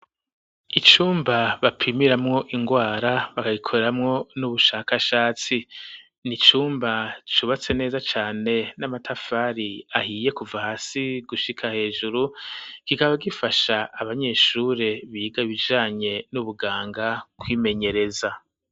Icumba bapimiramwo ingwara bakagikoreramwo n'ubushakashatsi ni cumba cubatse neza cane n'amatafari ahiye kuva hasi gushika hejuru kikaba gifasha abanyeshure biga ibijanye n'ubuganga kwimenyereza.